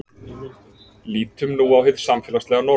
Lítum nú á hið samfélagslega norm.